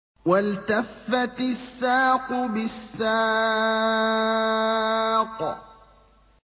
وَالْتَفَّتِ السَّاقُ بِالسَّاقِ